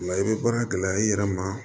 O la i bɛ baara gɛlɛya i yɛrɛ ma